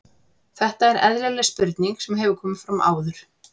Þetta er eðlileg spurning sem hefur komið fram áður.